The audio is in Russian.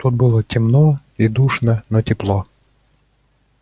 тут было темно и душно но тепло